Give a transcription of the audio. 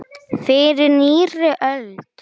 Fyrir nýrri öld!